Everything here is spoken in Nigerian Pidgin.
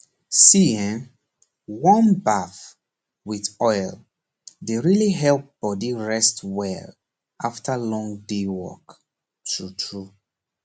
see eehn warm baff with oil dey really help body rest well after long day work true true